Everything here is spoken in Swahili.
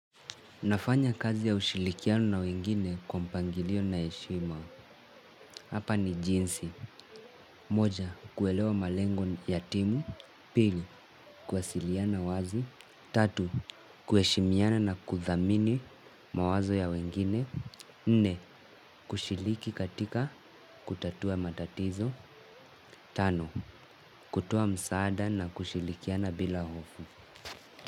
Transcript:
Nafanya kazi ya ushirikiano na wengine kwa mpangilio na heshima. Hapa ni jinsi. Moja, kuelewa malengo ya timu. Pili, kuwasiliana wazi. Tatu kuheshimiana na kuthamini mawazo ya wengine. Nne, kushiliki katika kutatua matatizo. Tano, kutoa msaada na kushirikiana bila hofu.